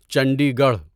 Chandi Garh